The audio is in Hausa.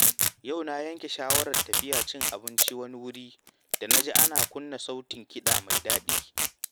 Yau na yanke shawarar tafiya cin abinci wani wuri da na ji ana kunna sautin kiɗa mai daɗi.